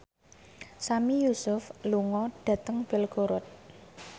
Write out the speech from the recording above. Sami Yusuf lunga dhateng Belgorod